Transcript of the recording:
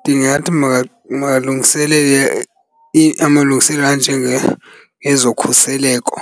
Ndingathi makalungiselele amalungiselelo ngezokhuseleko,